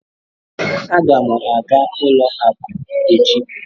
Aga m aga ụlọ akụ echi.